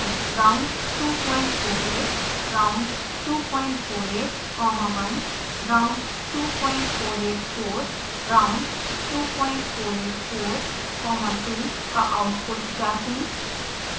round 248 round 248 comma 1 round 2484 round 2484 comma 2 का output जाँचें